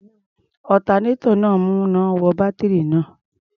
Alternator náà ń mú iná wọ bátírì náà.